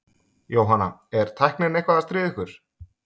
Jóhanna: Er tæknin eitthvað að stríða ykkur?